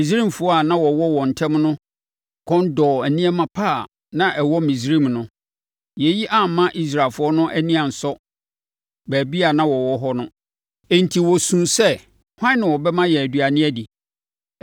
Misraimfoɔ a na wɔwɔ wɔn ntam no kɔn dɔɔ nneɛma pa a na ɛwɔ Misraim no. Yei amma Israelfoɔ no ani ansɔ baabi a na wɔwɔ hɔ no, enti wɔsuu sɛ, “Hwan na ɔbɛma yɛn aduane adi?